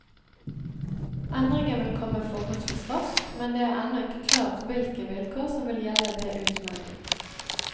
Endringen vil komme forholdsvis raskt, men det er ennå ikke klart hvilke vilkår som vil gjelde ved utmelding.